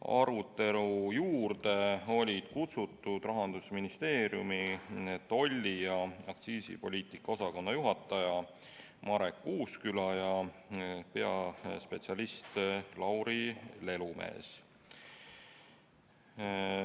Arutelule olid kutsutud ka Rahandusministeeriumi tolli- ja aktsiisipoliitika osakonna juhataja Marek Uusküla ja peaspetsialist Lauri Lelumees.